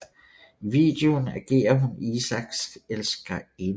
I videoen agerer hun Isaaks elskerinde